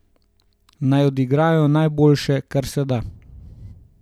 Naj odigrajo najboljše, kar se da.